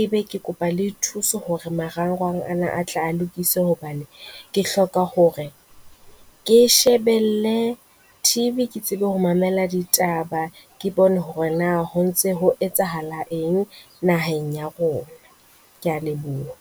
Ebe ke kopa le thuso hore marangrang ana a tle a lokiswe hobane ke hloka hore ke shebelle TV. Ke tsebe ho mamela ditaba, ke bone hore na ho ntse ho etsahala eng naheng ya rona. Ke a leboha.